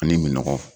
Ani minɔgɔn